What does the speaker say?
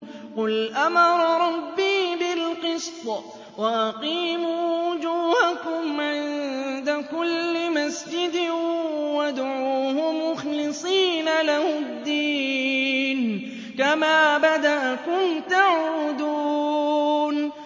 قُلْ أَمَرَ رَبِّي بِالْقِسْطِ ۖ وَأَقِيمُوا وُجُوهَكُمْ عِندَ كُلِّ مَسْجِدٍ وَادْعُوهُ مُخْلِصِينَ لَهُ الدِّينَ ۚ كَمَا بَدَأَكُمْ تَعُودُونَ